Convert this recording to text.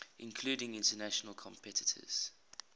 including international competitors